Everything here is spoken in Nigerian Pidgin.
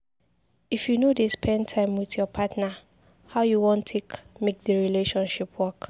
If you no dey spend time wit your partner, how you wan take make di relationship work?